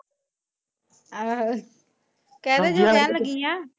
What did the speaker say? ਆਹੋ ਕਿਹਦੇ ਤੋ ਲੈਣ ਲੱਗੀ ਆ?